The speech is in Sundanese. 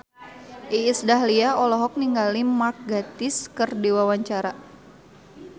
Iis Dahlia olohok ningali Mark Gatiss keur diwawancara